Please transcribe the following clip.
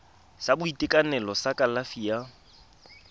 sa boitekanelo sa kalafi ya